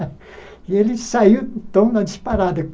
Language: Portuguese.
E ele saiu, então, na disparada.